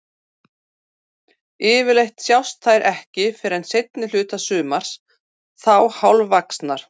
Yfirleitt sjást þær ekki fyrr en seinni hluta sumars, þá hálfvaxnar.